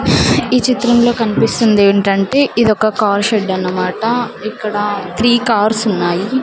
ఈ చిత్రంలో కన్పిస్తుందేంటంటే ఇదొక కార్ షెడ్డన్మాట ఇక్కడ త్రీ కార్సున్నాయి .